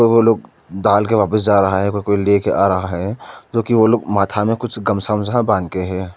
दो लोग डाल के वापिस जा रहा है कोई कोई ले के आ रहा है जो कि वो लोग माथा में कुछ गमछा ओमझा बांध के है।